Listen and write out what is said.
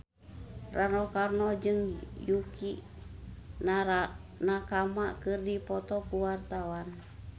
Rano Karno jeung Yukie Nakama keur dipoto ku wartawan